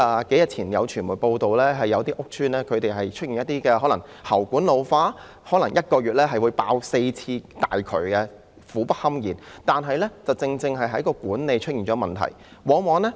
數天前有傳媒報道，有些屋邨出現了喉管老化的問題，可能1個月會爆4次大渠，令住戶苦不堪言，這顯示管理出現了問題。